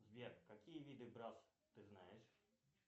сбер какие виды брасс ты знаешь